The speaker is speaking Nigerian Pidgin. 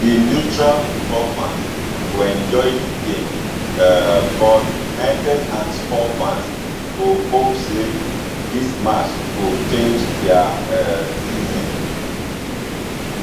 di neutral football fans go enjoy di game um but united and spurs fans go hope say dis match go change dia um season